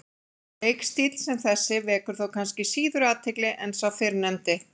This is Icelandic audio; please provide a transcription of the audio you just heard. Leikstíll sem þessi vekur þó kannski síður athygli en sá fyrrnefndi.